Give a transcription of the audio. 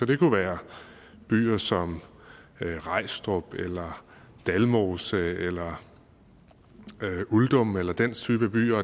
det kunne være byer som rejstrup eller dalmose eller uldum eller den type byer